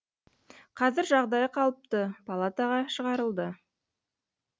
қазір жағдайы қалыпты палатаға шығарылды